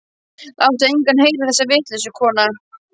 Láttu engan heyra þessa vitleysu, kona.